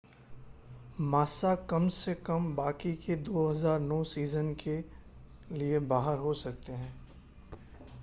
Massa कम से कम बाकी के 2009 सीज़न के लिए बाहर हो सकते हैं